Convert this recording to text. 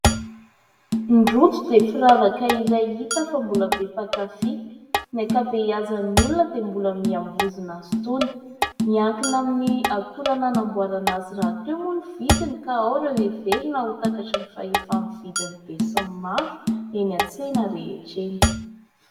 ny rojo dia firavaka iray hita fa mbola be mpakafy , ny ankabeazan'ny olona dia mbola mihambozina azy itony ; miankina amin'ny akora anamboarana azy rahateo moa ny vidiny ka ao ireo heverina ho takatry ny fahefan'ny vidin'ny be sy ny maro eny an-tsena rehetra eny